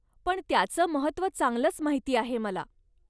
पण, त्याचं महत्व चांगलच माहिती आहे मला.